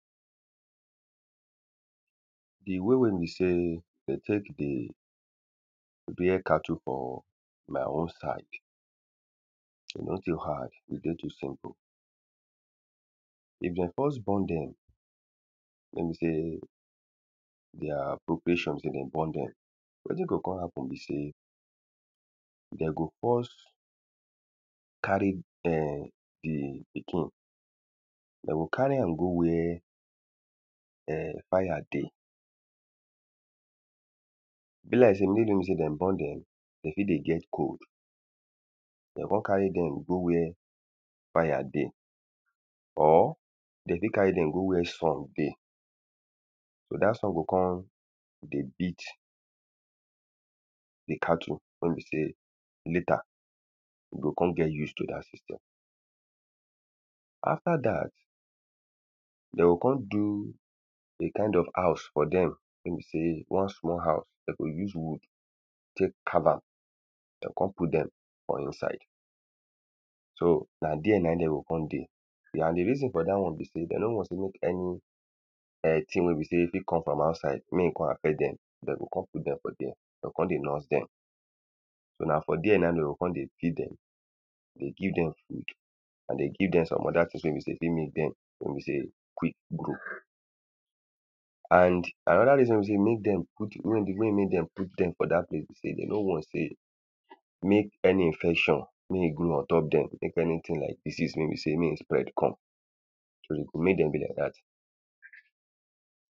The way wey be sey de take dey rare cattle for my own side e no too hard. E dey too simple. If de first born dem, wey be sey their proportion de dey born dem. Wetin go con happen be sey, de go first carry ern the pikin. De go carry am go where erm fire dey. Be like sey make no be sey de born dem, they fit dey get cold. De go con carry dem go where fire dey. or de fit carry dem go where sun dey. So dat sun go con dey beat the cattle wey be sey later e go con get use to dat system. After dat, de o con do a kind of house for dey. Wey be sey one small house. De go use wood take carve am. De con put dem for inside. So na dere na im de go con dey. And the reason for dat one be sey de no want sey make any ern thing wey be sey e fit come from outside make e con affect dem. De go con put dem for dere. De con dey nurse dem. So na for dere now de o con dey pick dem they give dem food. And dey give dem some other things wey be sey e fit make dem wey be sey quick grow. And another reason wey be sey e make dem put, wey make dem put dem for dat place be sey, de no want sey make any infection mey e go ontop dem. Make anything like disease wey be sey mey e spread come. So, mey dem be like dat.